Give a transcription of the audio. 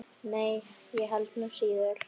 Nei, ég held nú síður.